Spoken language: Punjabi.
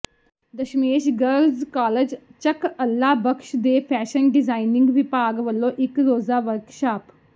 ਦਸਮੇਸ਼ ਗਰਲਜ਼ ਕਾਲਜ ਚੱਕ ਅੱਲਾ ਬਖ਼ਸ਼ ਦੇ ਫ਼ੈਸ਼ਨ ਡਿਜ਼ਾਇਨਿੰਗ ਵਿਭਾਗ ਵੱਲੋਂ ਇਕ ਰੋਜ਼ਾ ਵਰਕਸ਼ਾਪ